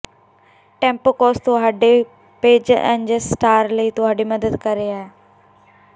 ਟੈਂਪੋਕੌਸ ਤੁਹਾਡੇ ਪੋਜਰ ਐਂਜਸਟਾਰ ਲਈ ਤੁਹਾਡੀ ਮਦਦ ਕਰ ਰਿਹਾ ਹੈ